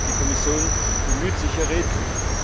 Die Kommission bemüht sich hier redlich.